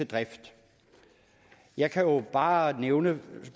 drift jeg kan bare nævne